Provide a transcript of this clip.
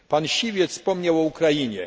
Pan Siwiec wspomniał o Ukrainie.